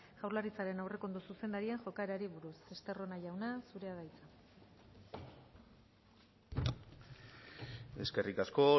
jaurlaritzaren aurrekontu zuzendariaren jokaerari buruz estarrona jauna zurea da hitza eskerrik asko